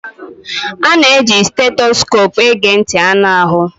A na-eji stethoscopu ege ntị anụ ahụ